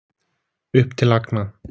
Upp til agna.